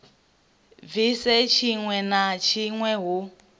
bvise tshiwe na tshiwe hu